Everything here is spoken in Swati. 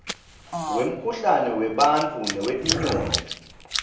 wemkhuhlane webantfu newetinyoni